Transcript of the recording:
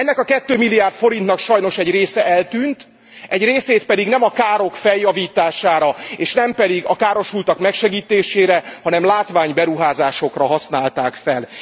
Ennek a 2 milliárd forintnak sajnos egy része eltűnt, egy részét pedig nem a károk javítására, és nem a károsultak megsegítésére, hanem látványberuházásokra használták fel.